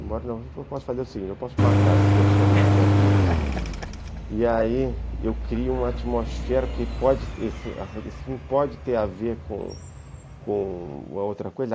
Eu posso fazer o seguinte, eu posso matar esse personagem aqui e aí eu crio uma atmosfera que pode ter a ver com com outra coisa.